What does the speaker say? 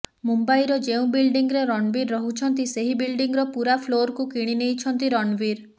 ମୁମ୍ବାଇର ଯେଉଁ ବିଲଡିଂରେ ରଣବୀର ରହୁଛନ୍ତି ସେହି ବିଲଡିଂର ପୁରା ଫ୍ଲୋରକୁ କିଣିନେଇଛନ୍ତି ରଣବୀର